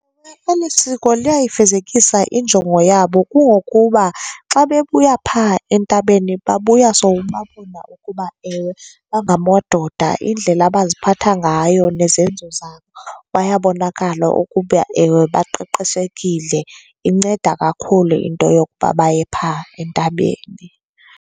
Eli siko liyayifezekisa injongo yabo. Kungokuba xa bebuya phaa entabeni babuya sowubabona ukuba ewe bangamadoda. Indlela abaziphatha ngayo nezenzo zabo bayabonakala ukuba ewe baqeqeshekile. Inceda kakhulu into yokuba baye phaa entabeni.